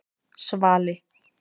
Svali